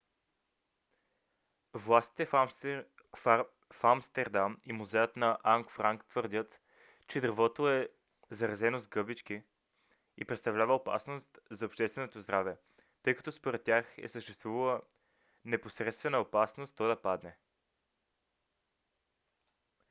властите в амстердам и музеят на ан франк твърдят че дървото е заразено с гъбички и представлява опасност за общественото здраве тъй като според тях е съществувала непосредствена опасност то да падане